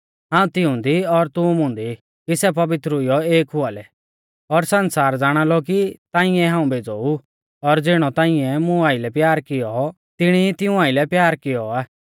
हाऊं तिऊंदी और तू मुंदी ई कि सै पवित्र हुईयौ एक हुआ लै और सण्सार ज़ाणालौ कि ताऐं ई हाऊं भेज़ौ ऊ और ज़िणौ ताइंऐ मुं आइलै प्यार किऔ तिणी ई तिऊं आइलै प्यार किऔ आ